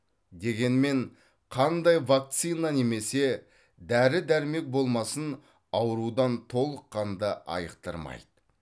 дегенмен қандай ванцина немесе дәрі дәрмек болмасын аурудан толыққанды айықтырмайды